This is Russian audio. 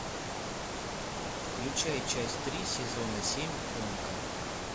включай часть три сезона семь умка